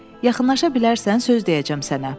Yaxınlaşa bilərsən, söz deyəcəm sənə.